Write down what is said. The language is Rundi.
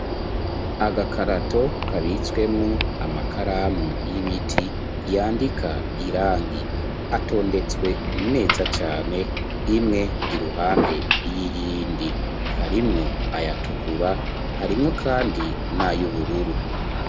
Agakarato kabitswemwo amakaramu y'ibiti yandika irangi. Atondetswe neza cane imwe iruhande y'iyindi. Harimwo ayatukura harimwo kandi n'ayo ubururu.